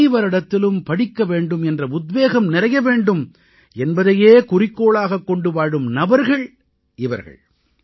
அனைவரிடத்திலும் படிக்க வேண்டும் என்ற உத்வேகம் நிறைய வேண்டும் என்பதையே குறிக்கோளாகக் கொண்டு வாழும் நபர்கள் இவர்கள்